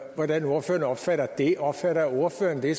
hvordan ordføreren opfatter det opfatter ordføreren det